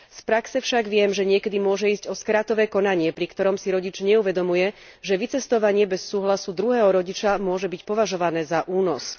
Z praxe však viem, že niekedy môže ísť o skratové konanie, pri ktorom si rodič neuvedomuje, že vycestovanie bez súhlasu druhého rodiča môže byť požadované za únos.